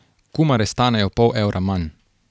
Kumare stanejo pol evra manj.